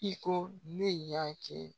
I ko ne y'a kɛ